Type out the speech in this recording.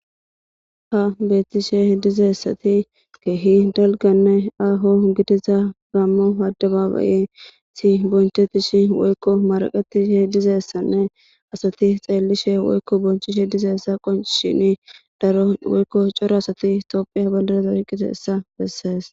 ha beettishe dizeessati keehi dalganne aaho gidiza gammo addabaabaye si bonchettishi woykko maraqatishe dizaessanne asati xeellishe woykko bonchishe dizeessa qonshini daro woykko cora asati toophiya bandadzari qiseessa bessees